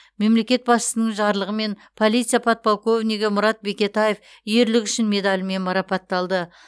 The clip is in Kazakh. мемлекет басшысының жарлығымен полиция подполковнигі мұрат бекетаев ерлігі үшін медалімен марапатталды